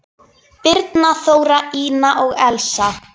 Birna, Þóra, Ína og Elsa.